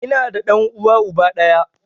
Ina da ɗan uwa uba ɗaya